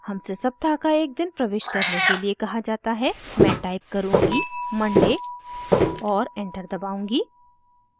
हमसे सप्ताह का एक दिन प्रविष्ट करने के लिए कहा जाता है मैं टाइप करुँगी monday और एंटर दबाउंगी